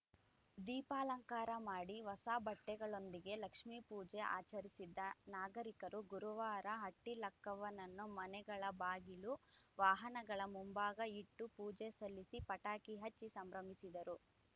ದೀಪಾಲಂಕಾರ ಮಾಡಿ ಹೊಸ ಬಟ್ಟೆಗಳೊಂದಿಗೆ ಲಕ್ಷ್ಮಿ ಪೂಜೆ ಆಚರಿಸಿದ್ದ ನಾಗರಿಕರು ಗುರುವಾರ ಹಟ್ಟಿಲಕ್ಕವ್ವನನ್ನು ಮನೆಗಳ ಬಾಗಿಲು ವಾಹನಗಳ ಮುಂಭಾಗ ಇಟ್ಟು ಪೂಜೆ ಸಲ್ಲಿಸಿ ಪಟಾಕಿ ಹಚ್ಚಿ ಸಂಭ್ರಮಿಸಿದರು